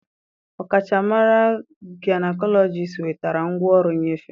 Ọkachamara gaịnekọlọjist wetara ngwaọrụ nnyefe